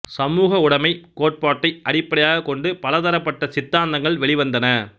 சமூகவுடைமை கோட்பாட்டை அடிப்படையாகக் கொண்டு பல தரப்பட்ட சித்தாந்தங்கள் வெளிவந்தன